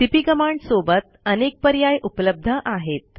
CP command सोबत अनेक पर्याय उपलब्ध आहेत